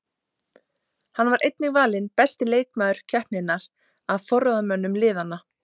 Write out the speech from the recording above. Hann var einnig valinn besti leikmaður keppninnar af forráðamönnum liðanna.